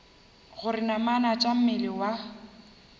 gore namana tša mmele wa